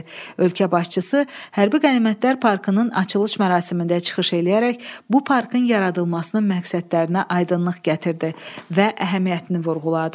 Ölkə başçısı hərbi qənimətlər parkının açılış mərasimində çıxış eləyərək bu parkın yaradılmasının məqsədlərinə aydınlıq gətirdi və əhəmiyyətini vurğuladı.